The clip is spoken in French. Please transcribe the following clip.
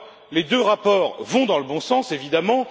Les deux rapports vont dans le bon sens, évidemment